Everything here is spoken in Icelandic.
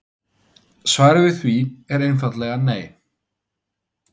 Svarið við því er einfaldlega nei.